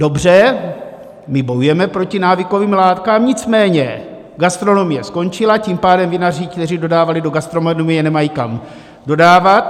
Dobře, my bojujeme proti návykovým látkám, nicméně gastronomie skončila, tím pádem vinaři, kteří dodávali do gastronomie, nemají kam dodávat.